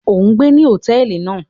O n gbé ní hotẹẹli náà!